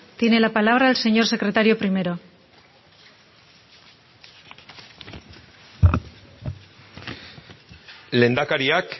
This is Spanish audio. tiene la palabra el señor secretario primero lehendakariak